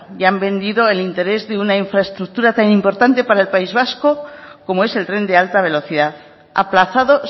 y han vendido el interés de una infraestructura tan importante para el país vasco como es el tren de alta velocidad aplazado